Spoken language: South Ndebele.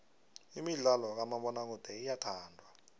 imidlalo kamabonakude iyathandwa